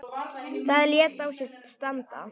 Það lét á sér standa.